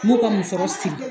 N b'u ka muso siri.